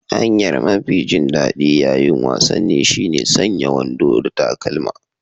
Hanyar mafi jin daɗi ƴaƴin wasanni shine sanya wando da takalma.